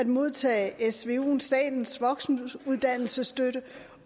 modtage svu statens voksenuddannelsesstøtte